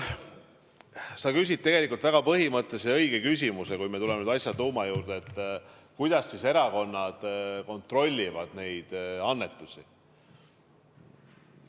Sa küsid tegelikult väga põhimõttelise ja õige küsimuse – kui me tuleme nüüd asja tuuma juurde –, kuidas erakonnad kontrollivad neid annetusi.